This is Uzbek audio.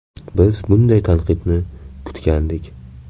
Biz bunday tanqidni kutgandik.